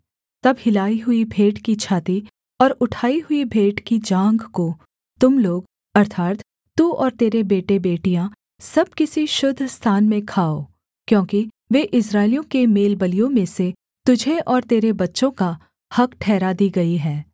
तब हिलाई हुई भेंट की छाती और उठाई हुई भेंट की जाँघ को तुम लोग अर्थात् तू और तेरे बेटेबेटियाँ सब किसी शुद्ध स्थान में खाओ क्योंकि वे इस्राएलियों के मेलबलियों में से तुझे और तेरे बच्चों का हक़ ठहरा दी गई हैं